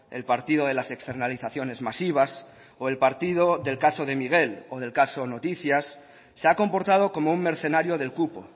el partido de las externalizaciones masivas o el partido del caso de miguel o del caso noticias se ha comportado como un mercenario del cupo